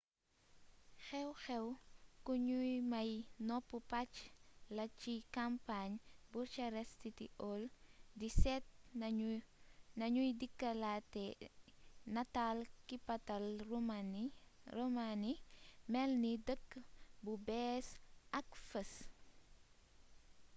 xew-xew ku nuy may nopp pacc la ci kampañ bucharest city hall di seet nuñuy dekkilate nataal kapital romaani melni dëkk bu bess ak fees